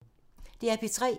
DR P3